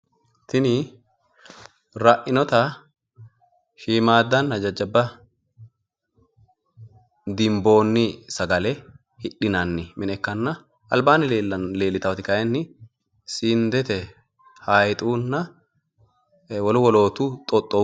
Tini ra'inota shiimmaddanna jajjabba dinboonni sagale hidhinanni mine ikkanna albaanni leellitaati kayiinni sindete hayiixunna wolu woloottu xoxxuu sagaleeti